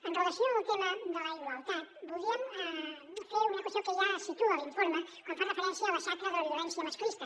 amb relació al tema de la igualtat voldríem fer una qüestió que ja es situa a l’informe quan fa referència a la xacra de la violència masclista